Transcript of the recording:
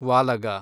ವಾಲಗ